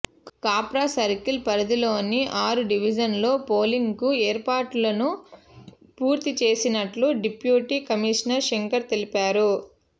Kapra circle పరిధిలోని ఆరు డివిజన్లలో పోలిం గ్కు ఏర్పాట్లను పూర్తి చేసినట్లు డిప్యూటీ కమిషనర్ శంకర్ తెలిపారు